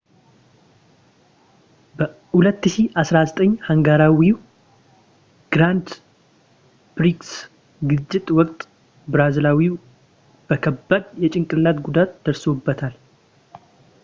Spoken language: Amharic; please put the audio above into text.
በ 2009 ሃንጋሪያዊ ግራንድ ፕሪክስ ግጭት ወቅት ብራዚላዊው በከባድ የጭንቅላት ጉዳት ደርሶበታል